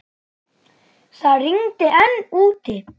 Það rigndi enn úti.